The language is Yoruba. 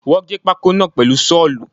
Wọ́n gé pákó náà pèlu Ṣọ́ọ̀lù